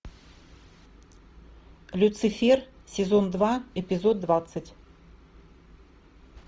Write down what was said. люцифер сезон два эпизод двадцать